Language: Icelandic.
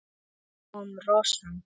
Svo kom romsan.